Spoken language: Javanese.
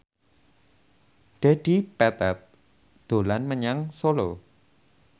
Dedi Petet dolan menyang Solo